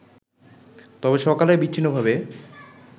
তবে সকালে বিচ্ছিন্নভাবে